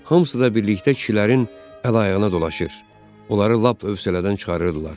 Hamısı da birlikdə kişilərin əl-ayağına dolaşır, onları lap hövsələdən çıxarırdılar.